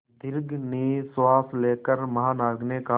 दीर्घ निश्वास लेकर महानाविक ने कहा